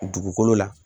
Dugukolo la